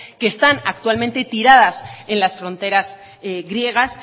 que están actualmente tiradas en las fronteras griegas